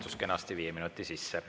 Mahtus kenasti viie minuti sisse.